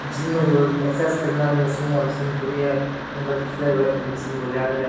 gym मे जो exercise करने आली मशीन पड़ी है --